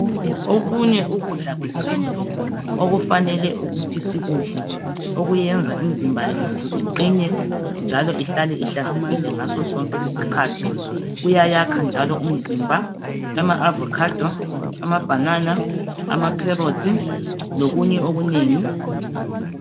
Okunye ukudla kwesintu okufanele ukuthi sikudle okuyenza imizimba yethu iqine njalo ihlale ihlanzekile ngaso sonke isikhathi kuyayakha njalo umzimba ama avocado, amabanana, amacarrots lokunye okunengi.